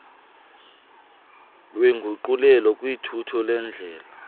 wenguqulelo kuthutho lwendlela